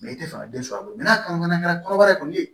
i tɛ fɛ ka den sɔrɔ a bolo n'a kɔnɔ kɛra kɔnɔbara kɔni ye